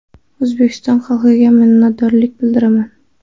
O‘zbekiston xalqiga minnatdorlik bildiraman.